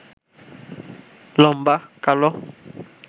লম্বা, কালো